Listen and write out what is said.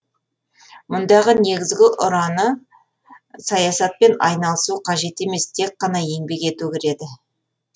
мұндағы негізгі ұраны саясатпен айналысу қажет емес тек қана еңбек ету кіреді